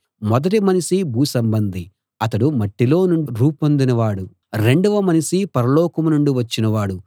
మొదటి మనిషి భూసంబంధి అతడు మట్టిలో నుండి రూపొందిన వాడు రెండవ మనిషి పరలోకం నుండి వచ్చినవాడు